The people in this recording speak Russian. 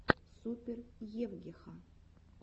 супер евгеха